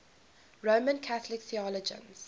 roman catholic theologians